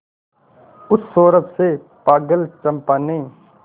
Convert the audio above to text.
उस सौरभ से पागल चंपा ने